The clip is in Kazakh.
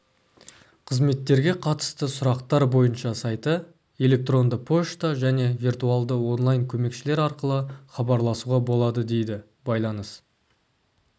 қызметтерге қатысты сұрақтар бойынша сайты электронды пошта және виртуалды онлайн-көмекшілер арқылы хабарласуға болады дейді байланыс